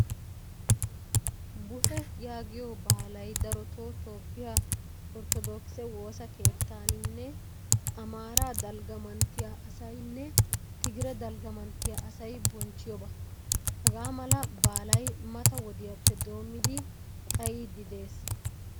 'Buhee' yaagiyoo baalaay daroto Toophphiyaa orttodokise woosaa keettannine Amaaraa dalgga manttiyaa asaynne Tigire dalgaa manttiyaa asay bonchchiyoba. Hagaamala baalay mata wodiyappe doommidi xayidi de'ees.